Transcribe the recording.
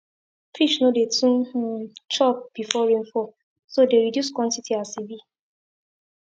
fish no dey too um chop before rainfall so dey reduce quantity as e be